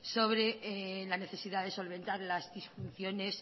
sobre la necesidad de solventar las disfunciones